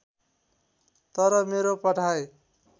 तर मेरो पढाइ